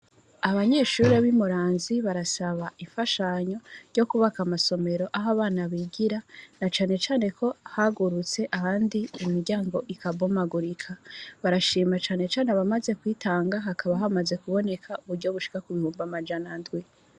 Abanyeshuri bi muramvya barasaba imfashanya yo kubaka amasomero aho abana bigira na cane cane hagurutse ahandi imiryango irambomagurika, barashima abamaze kwitaga hakaba hamaze kuboneka ibihumbi amajana indwi.